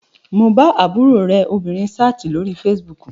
Mo bá àbúrò rẹ obìnrin sáàtì lórí fesibúùkù